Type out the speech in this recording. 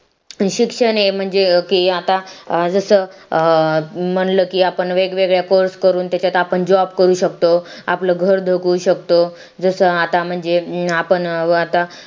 शिक्षण हे म्हणजे की आता जसं म्हणलं की आपण वेगवेगळ्या course करून त्याच्यात आपण JOB करू शकतो आपलं घर जगू शकतो जसं आता म्हणजे अं आपण अं आता